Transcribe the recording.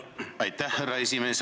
Aitäh, härra esimees!